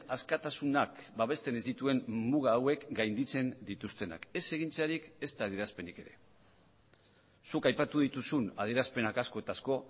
askatasunak babesten ez dituen muga hauek gainditzen dituztenak ez egintzarik ezta adierazpenik ere zuk aipatu dituzun adierazpenak asko eta asko